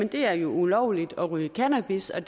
det er ulovligt at ryge cannabis og